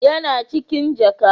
Yana cikin jaka.